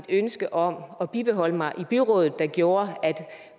ønske om at bibeholde mig i byrådet der gjorde at